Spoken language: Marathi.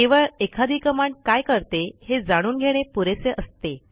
केवळ एखादी कमांड काय करते हे जाणून घेणे पुरेसे असते